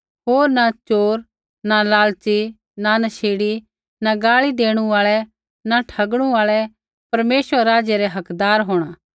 होर न च़ोर न लालची न नशेड़ी न गाल़ी देणु आल़ै न ठगणु आल़ै परमेश्वरै रै राज्य रै हकदार होंणा